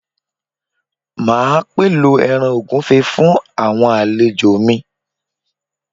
Máa pèlò ẹran ògúnfe fún àwọn àlejò mi